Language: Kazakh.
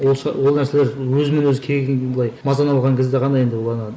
осы ол нәрселер өзімен өзі келген былай мазаны алған кезде ғана енді ана